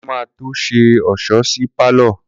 Kunle ma tó ṣe ọ̀ṣọ́ sí pálọ̀